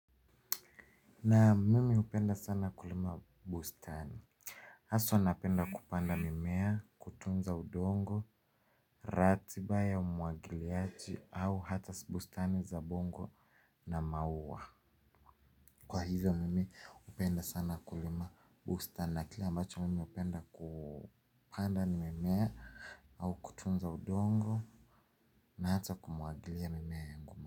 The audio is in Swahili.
Naam mimi hupenda sana kulima bustani haswa napenda kupanda mimea, kutunza udongo, ratiba ya umwagiliaji au hata bustani za bongo na maua kwa hivyo mimi hupenda sana kulima bustani na kile ambacho mimi hupenda kupanda ni mimea au kutunza udongo na hata kumwagilia mimea yangu.